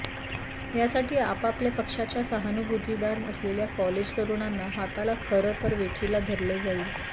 यासाठी आपापल्या पक्षाच्या सहानुभूतीदार असलेल्या कॉलेज तरुणांना हाताला खरं तर वेठीला धरलं जाई